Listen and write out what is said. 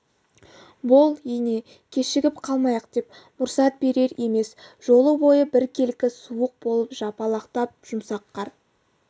бол ене кешігіп қалмайық деп мұрсат берер емес жол бойы біркелкі суық болып жапалақтап жұмсақ қар